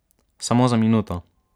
Samo za minuto.